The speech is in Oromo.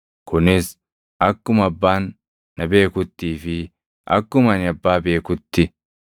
kunis akkuma Abbaan na beekuttii fi akkuma ani Abbaa beekutti. Anis lubbuu koo hoolotaaf nan kenna.